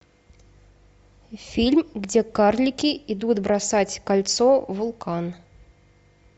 фильм где карлики идут бросать кольцо в вулкан